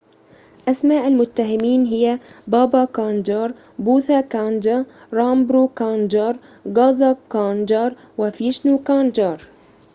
أسماء المتهمين هي بابا كانجار بوثا كانجا رامبرو كانجار غازا كانجار وفيشنو كانجار